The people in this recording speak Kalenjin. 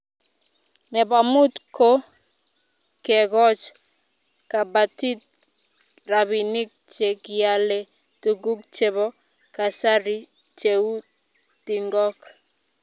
Nebo mut ko kegoch kabatik rabinik che kialee tuguk chebo kasari cheu tingok